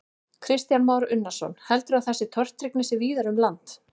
Kristján Már Unnarsson: Heldurðu að þessi tortryggni sé víðar um land?